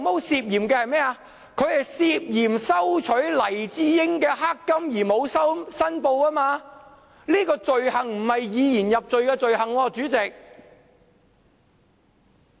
是涉嫌收取黎智英的"黑金"而沒有申報，這種罪行並非以言入罪的罪行，主席。